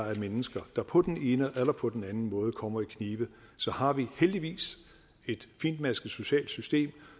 er mennesker der på den ene eller på den anden måde kommer i knibe så har vi heldigvis et fintmasket socialt system